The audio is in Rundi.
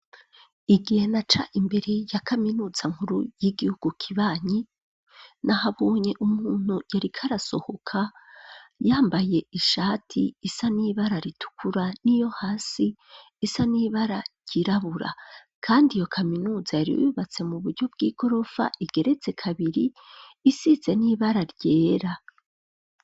Igihe naca imbere, ya kaminuza nkuru, y'igihugu kibanyi, nahabonye umuntu, yariko arasohoka, yambaye ishati, isa n'ibara ritukura, n'iyo hasi, isa n'ibara ryirabura; kandi iyo kaminuza, yari yubatse mu buryo, bw'igorofa, igeretse kabiri, isize n'ibara ryera.